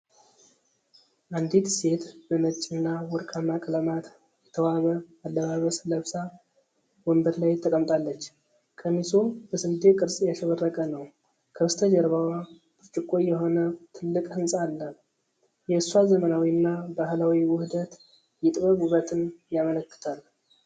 አንዲት ሴት በነጭ እና ወርቃማ ቀለማት የተዋበ አለባበስ ለብሳ ወንበር ላይ ተቀምጣለች። ቀሚሱ በስንዴ ቅርፅ ያሸበረቀ ነው፡፡ ከበስተጀርባዋ ብርጭቆ የሆነ ትልቅ ህንፃ አለ። የእሷ ዘመናዊና ባህላዊ ውህደት፣ የጥበብ ውበትን ያመለክታል፡፡